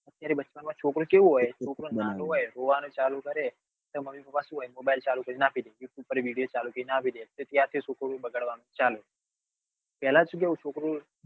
છોકરું હોય નાનું હોય રોવા નું ચાલુ કરે. એટલે મમ્મી પાપા mobile ચાલુ કરી ને આપી દે. video ચાલુ કરી ને આપી દે એ ક ક્યાં એ બગાડવા નું છે ચાલે. પેલા સુ કેવું છોકરું